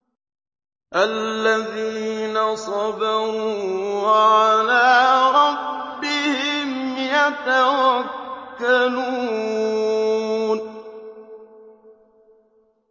الَّذِينَ صَبَرُوا وَعَلَىٰ رَبِّهِمْ يَتَوَكَّلُونَ